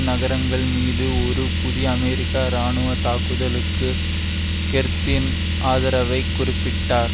நகரங்களின்மீது ஒரு புதிய அமெரிக்க இராணுவ தாக்குதலுக்கு கெர்த்தின் ஆதரவைக் குறிப்பிட்டார்